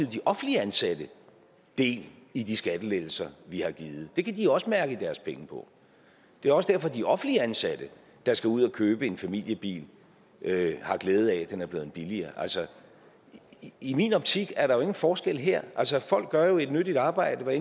de offentligt ansatte del i de skattelettelser vi har givet det kan de også mærke på deres pengepung det er også derfor at de offentligt ansatte der skal ud at købe en familiebil har glæde af at den er blevet billigere altså i min optik er der jo ingen forskel her folk gør jo et nyttigt arbejde hvad